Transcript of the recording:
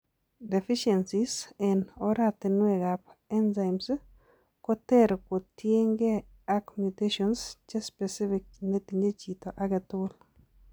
Deficiencies eng' oratunwek ab enzymes koter kotiengee ak mutations chespecific netinye chito agetugul